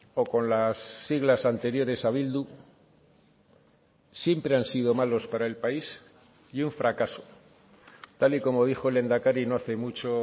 o con las siglas anteriores a bildu siempre han sido malos para el país y un fracaso tal y como dijo el lehendakari no hace mucho